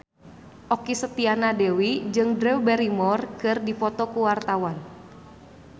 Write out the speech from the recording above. Okky Setiana Dewi jeung Drew Barrymore keur dipoto ku wartawan